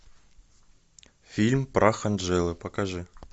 фильм прах анджелы покажи